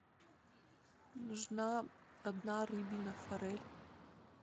нужна одна рыбина форель